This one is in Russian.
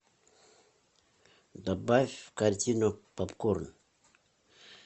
добавь в корзину попкорн